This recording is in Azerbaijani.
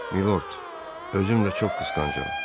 Milord, özüm də çox qısqancam.